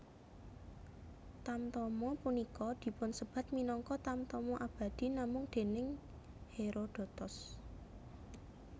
Tamtama punika dipunsebat minangka Tamtama Abadi namung déning Herodotos